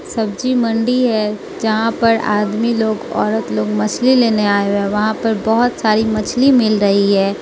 सब्जी मंडी है जहां पर आदमी लोग औरत लोग मछली लेने आए हुए। वहां पर बहुत सारी मछली मिल रही है।